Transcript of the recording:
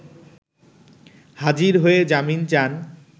হাজির হয়ে জামিন চান